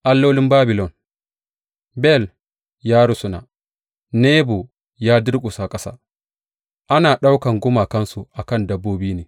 Allolin Babilon Bel ya rusuna, Nebo ya durƙusa ƙasa; ana ɗaukan gumakansu a kan dabbobi ne.